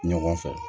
Ɲɔgɔn fɛ